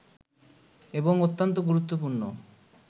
এবং অত্যন্ত গুরুত্বপূর্ণ